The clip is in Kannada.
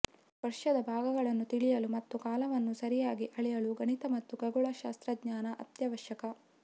ವರ್ಷದ ಭಾಗಗಳನ್ನು ತಿಳಿಯಲು ಮತ್ತು ಕಾಲವನ್ನು ಸರಿಯಾಗಿ ಅಳೆಯಲು ಗಣಿತ ಮತ್ತು ಖಗೋಳ ಶಾಸ್ತ್ರಜ್ಞಾನ ಅತ್ಯವಶ್ಯಕ